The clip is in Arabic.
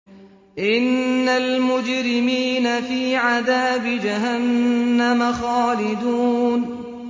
إِنَّ الْمُجْرِمِينَ فِي عَذَابِ جَهَنَّمَ خَالِدُونَ